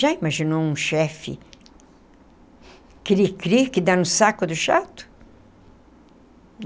Já imaginou um chefe..., que dá no saco do chato?